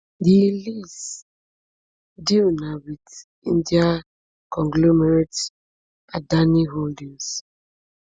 di lease deal na wit indian conglomerate adani holdings